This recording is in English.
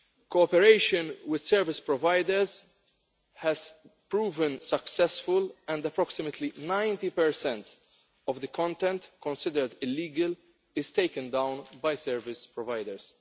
Cooperation with service providers has proved successful, and approximately 90 of the content considered illegal is taken down by service providers.